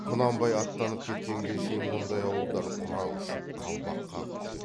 құнанбай аттанып кеткенге шейін мұндай ауылдар құрақ ұшып қалбақ қағып күтеді